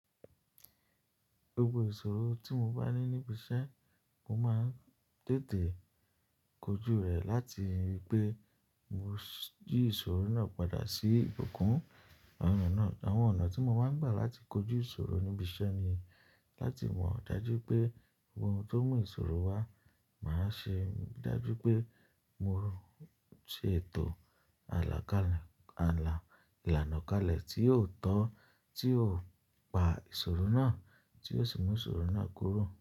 Gbogbo ìṣòro tí mo bá ní níbi iṣẹ́, mo máa ń tètè kojú rẹ̀ láti wípé mo jí ìṣòro náà padà sí ìbùkún. Àwọn ọ̀nà tí mo máa ń gbà láti kojú ìṣòro níbi iṣẹ́ ni láti mọ̀ dájú pé ohun tó mú ìṣòro wá, màá ṣe dájú pé mo rùn ṣètò àlà kalẹ, àlà ìlànà kalẹ̀ tí yóò tán, tí yóò pa ìṣòro náà, tí yóò sì mú ìṣòro náà kúrò.